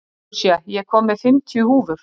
Lúsía, ég kom með fimmtíu húfur!